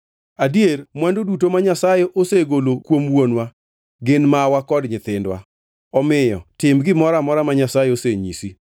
Adier mwandu duto ma Nyasaye osegolo kuom wuonwa gin mawa kod nyithindwa. Omiyo tim gimoro amora ma Nyasaye osenyisi.”